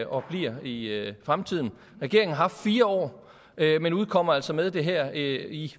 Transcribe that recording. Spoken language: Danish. og bliver i fremtiden regeringen har haft fire år men udkommer altså med det her i